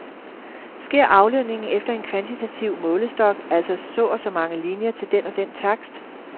Sker aflønningen efter en kvantitativ målestok, altså så og så mange linier til den og den takst?